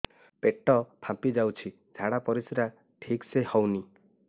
ପେଟ ଫାମ୍ପି ଯାଉଛି ଝାଡ଼ା ପରିସ୍ରା ଠିକ ସେ ହଉନି